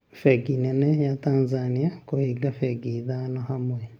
Bengi nene ya Tanzania kũbinga bengi ithano hamwe